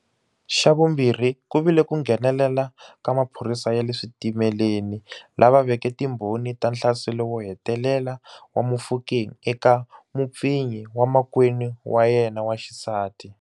Xa vumbirhi ku vile ku nghenelela ka maphorisa ya le switimele ni lava veke timbhoni ta nhlaselo wo hetelela wa Mofokeng eka mupfinyi wa makwenu wa yena wa xisati.